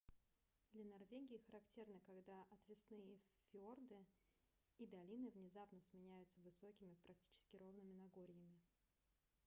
для норвегии характерно когда отвесные фьорды и долины внезапно сменяются высокими практически ровными нагорьями